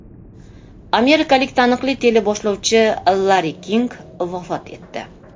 Amerikalik taniqli teleboshlovchi Larri King vafot etdi.